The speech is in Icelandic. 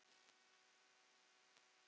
Þá er komin töf.